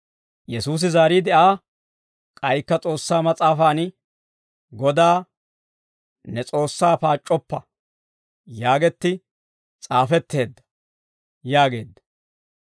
Yesuusi zaariide Aa, «K'aykka S'oossaa mas'aafaan, ‹Godaa ne S'oossaa paac'c'oppa› yaagetti s'aafetteedda» yaageedda.